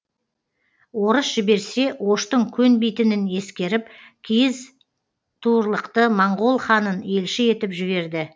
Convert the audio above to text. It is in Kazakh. орыс жіберсе оштың көнбейтінін ескеріп киіз туырлықты моңғол ханын елші етіп жіберді